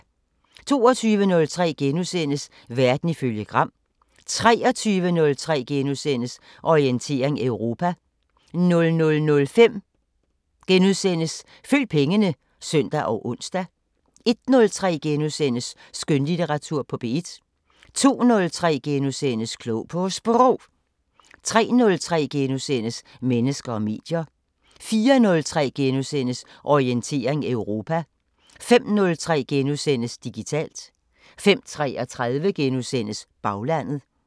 22:03: Verden ifølge Gram * 23:03: Orientering Europa * 00:05: Følg pengene *(søn og ons) 01:03: Skønlitteratur på P1 * 02:03: Klog på Sprog * 03:03: Mennesker og medier * 04:03: Orientering Europa * 05:03: Digitalt * 05:33: Baglandet *